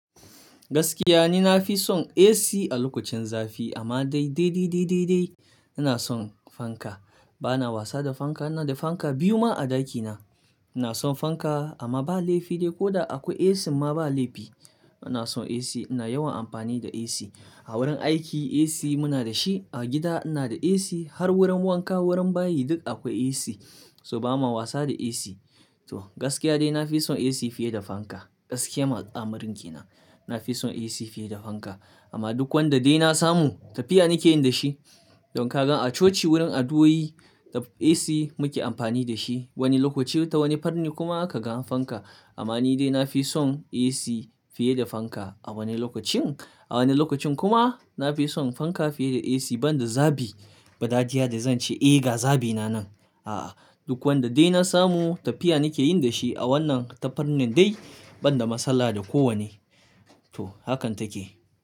Gaskiya ni na fi son AC a lokacin zafi amma dai, dai, dai, dai, dai, dai ina son fanka. Ba na wasa da fanka, ina da fanka biyu ma a dakina. Ina son fanka amma ba laifi dai ko da akwai AC ma ba laifi. Ina son AC, ina yawan amfani da AC. A wurin aiki AC muna da shi, a gida ina da AC, har wurin wanka wurin bayi duk akwai AC. So ba ma wasa da AC. To gaskiya dai na fi son AC fiye da fanka. Gaskiyan alamarin kenan. Na fi son AC fiye da fanka. Amma duk wanda dai na samu tafiya nake yin da shi. Don kagan a coci wurin addu'o'i AC muke amfani da shi wani lokaci ta wani farnin kuma kaga fanka. Amma ni dai na fi son AC fiye da fanka a wani lokacin. A wani lokacin kuma na fi son fanka fiye da AC banda zabi. Badajiya da zan ce "Eh ga zabina nan." A'a, duk wanda dai na samu tafiya nake yin da shi a wannan tafarnin dai banda matsala da kowane. To hakan take.